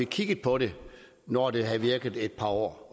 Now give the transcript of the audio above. kigget på det når det har virket i et par år